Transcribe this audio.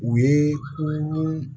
U ye